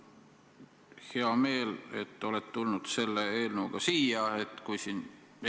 Mul on hea meel, et olete selle eelnõuga siia tulnud.